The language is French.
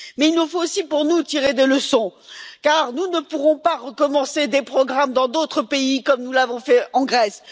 Mais il nous faut aussi, pour nous, tirer des leçons, car nous ne pourrons pas recommencer des programmes dans d'autres pays comme nous l'avons fait en Grèce.